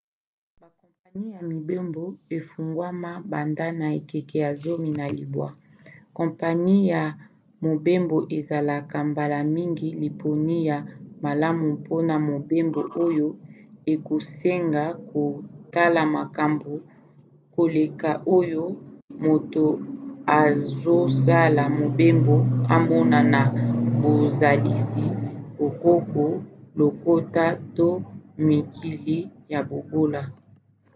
bakompani ya mibembo efungwama banda na ekeke ya 19. kompani ya mobembo ezalaka mbala mingi liponi ya malamu mpona mobembo oyo ekosenga kotala makambo koleka oyo moto azosala mobembo amona na bozalisi bokoko lokota to mikili ya bobola